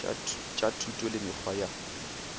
tša thuto le mekgwa ya